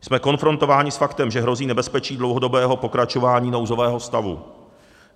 Jsme konfrontováni s faktem, že hrozí nebezpečí dlouhodobého pokračování nouzového stavu.